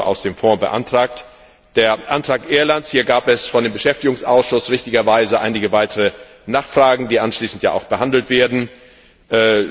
Euro aus dem Fonds beantragt. Zum Antrag Irlands gab es vom Beschäftigungsausschuss richtigerweise einige weitere Nachfragen, die anschließend ja auch behandelt werden bzw.